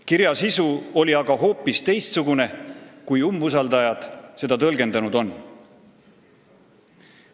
Kirja sisu oli aga hoopis teistsugune, kui umbusaldajad seda tõlgendanud on.